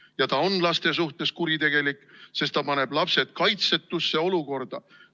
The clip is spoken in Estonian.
Ja ta on laste suhtes kuritegelik sellepärast, et ta paneb lapsed kaitsetusse olukorda.